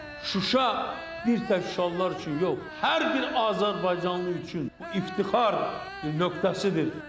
Şuşa bir tək Şuşalılar üçün yox, hər bir Azərbaycanlı üçün iftixar nöqtəsidir.